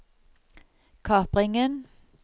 kapringen